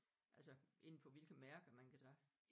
Altså indenfor hvilke mærker man kan tage?